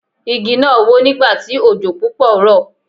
Igi náà wó nígbà tí òjò púpọ̀ rọ̀.